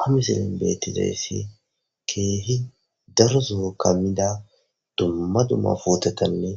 Ha misilen betezaysi keeh daro Soho kamida dumma dumma putetanne